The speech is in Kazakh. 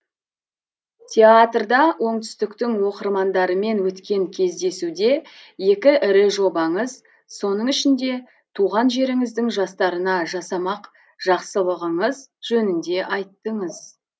театрда оңтүстіктің оқырмандарымен өткен кездесуде екі ірі жобаңыз соның ішінде туған жеріңіздің жастарына жасамақ жақсылығыңыз жөнінде айттыңыз